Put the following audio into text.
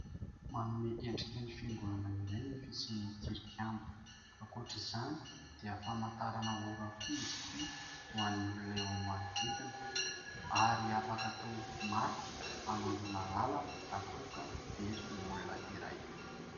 Manome endrika ny fiangonana ireny fisian'ny tilikambo ; ankoatra izany dia famantaranora koa izy ity ho an'ny olona eo amin'ny manodidina ary afaka atao marika hanondroana lalana raha toa ka very ny olona iray.